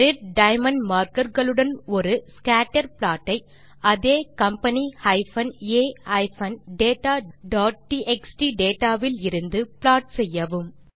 red diamond markerகளுடன் ஒரு scatter plot ஐ அதே company a dataடிஎக்ஸ்டி டேட்டா விலிருந்து ப்ளாட் செய்யவும்